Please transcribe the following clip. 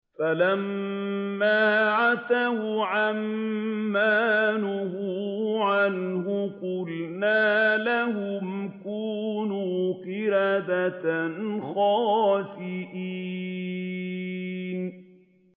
فَلَمَّا عَتَوْا عَن مَّا نُهُوا عَنْهُ قُلْنَا لَهُمْ كُونُوا قِرَدَةً خَاسِئِينَ